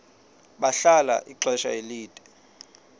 bahlala ixesha elide